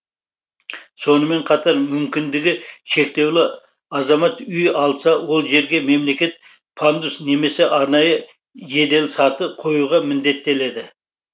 сонымен қатар мүмкіндігі шектеулі азамат үй алса ол жерге мемлекет пандус немесе арнайы жеделсаты қоюға міндеттеледі